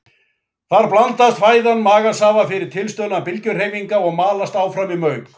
Þar blandast fæðan magasafa fyrir tilstuðlan bylgjuhreyfinga og malast áfram í mauk.